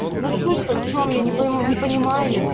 ну судь то в чем я не пойму не понимаю